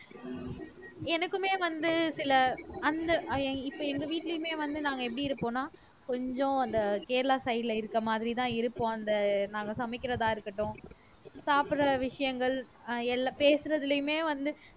எனக்குமே வந்து சில அந்த இப்ப எங்க வீட்டிலேயுமே வந்து நாங்க எப்படி இருப்போம்ன்னா கொஞ்சம் அந்த கேரளா side ல இருக்க மாதிரிதான் இருக்கும் அந்த நாங்க சமைக்கிறதா இருக்கட்டும் சாப்பிடுற விஷயங்கள் அஹ் எல்லா பேசுறதிலேயுமே வந்து